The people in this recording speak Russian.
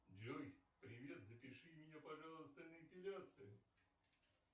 джой привет запиши меня пожалуйста на эпиляцию